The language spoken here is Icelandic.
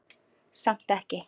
Samt ekki.